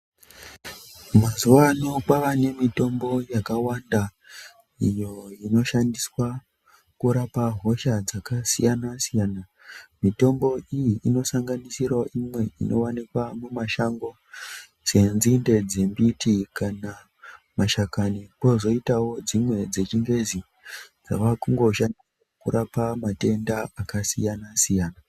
Mazuwano kwava nemitombo yakawanda iyo inoshandiswa kurapa hosha dzakasiyana siyana mitombo iyi inosanganisirawo imwe inowanikwa mumashango senzinde dzembiti kana mashakani kozoitawo dzimwe dzechingezi dzava kungoshanda kurapa matenda akasiyana siyana.